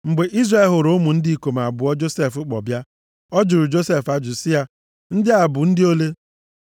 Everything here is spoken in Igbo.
Mgbe Izrel hụrụ ụmụ ndị ikom abụọ Josef kpọ bịa, ọ jụrụ Josef ajụjụ sị, “Ndị a, bụ ndị ole?”